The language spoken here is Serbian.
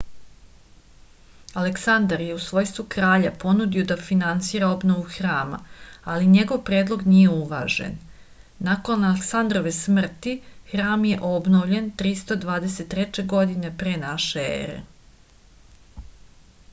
aleksandar je u svojstvu kralja ponudio da finansira obnovu hrama ali njegov predlog nije uvažen nakon aleksandarove smrti hram je obnovljen 323. godine p n e